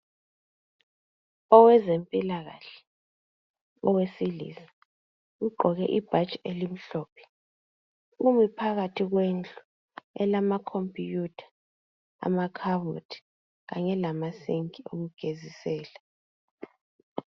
Owezempilakahle owesilisa ugqoke ibhatshi elimhlophe umi phakathi kwendlu elama khompiyutha ,amakhabothi kanye lama sinki okugezisela.